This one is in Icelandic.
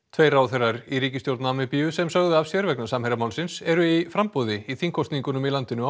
tveir ráðherrar í ríkisstjórn Namibíu sem sögðu af sér vegna Samherjamálsins eru í framboði í þingkosningunum í landinu á